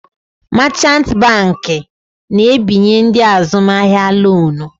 Machant banki na-ebinye ndị azụmahịa lonu.